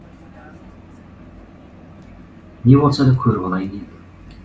не болса да көріп алайын енді